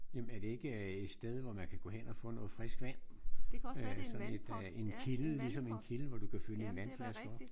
Jamen er det ikke et sted hvor man kan gå hen og få noget frisk vand? Øh sådan et en kilde ligesom en kilde hvor du kan fylde din vandflaske op?